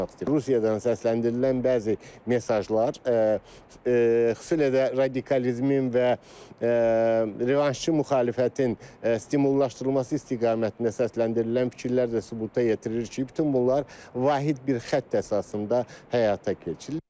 Rusiyadan səsləndirilən bəzi mesajlar, xüsusilə də radikalizmin və revanşçı müxalifətin stimullaşdırılması istiqamətində səsləndirilən fikirlər də sübuta yetirir ki, bütün bunlar vahid bir xətt əsasında həyata keçirilir.